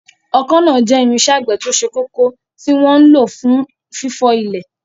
Ọkọ́ náà jẹ́ irinṣẹ́ àgbẹ̀ tó ṣe kókó tí wọ́n ń lò fún fífọ́ ilẹ̀.